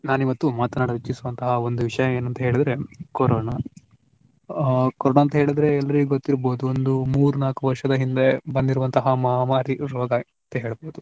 ನಾನ್ ಇವತ್ತು ಮಾತಾಡಲು ಇಚ್ಚಿಸುವಂತಹ ವಿಷಯ ಒಂದು ಏನಂತ ಹೇಳಿದ್ರೆ ಕೊರೊನಾ ಆ ಕೊರೊನಾ ಅಂತ ಹೇಳಿದ್ರೆ ಎಲ್ಲರಿಗೂ ಗೊತ್ತಿರಬಹುದು ಒಂದು ಮೂರು ನಾಲ್ಕು ವರ್ಷದ ಹಿಂದೆ ಬಂದಿರುವಂತಹ ಮಹಾಮಾರಿ ರೋಗ ಅಂತ ಹೇಳ್ಬಹುದು.